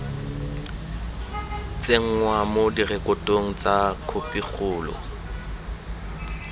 tsenngwa mo direkotong tsa khopikgolo